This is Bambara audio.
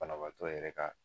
Banabaatɔ yɛrɛ ka